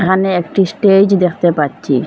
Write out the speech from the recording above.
এহানে একটি স্টেজ দেখতে পাচ্ছি।